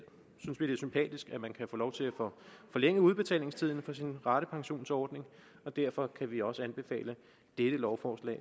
er man kan få lov til at få forlænget udbetalingstiden for sin ratepensionsordning og derfor kan vi også anbefale dette lovforslag